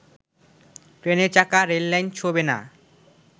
ট্রেনের চাকা রেললাইন ছোঁবে না